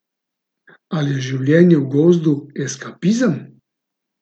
Ali je življenje v gozdu eskapizem?